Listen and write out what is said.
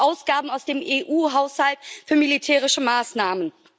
Ausgaben aus dem EU Haushalt für militärische Maßnahmen.